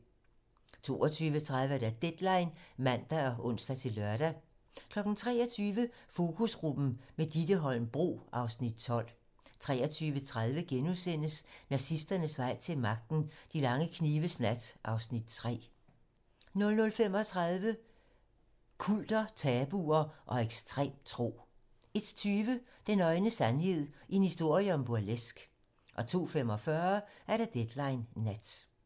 22:30: Deadline (man og ons-lør) 23:00: Fokusgruppen - med Ditte Holm Bro (Afs. 12) 23:30: Nazisternes vej til magten: De lange knives nat (Afs. 3)* 00:35: Kulter, tabuer og ekstrem tro 01:20: Den nøgne sandhed - en historie om burleske 02:45: Deadline nat